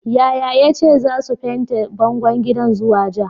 Yaya yace zasu fente bangon gidan zuwa ja.